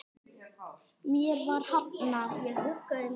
Mér var hafnað.